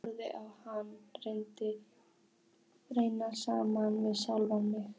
Ég horfi á hana renna saman við sjálfa mig.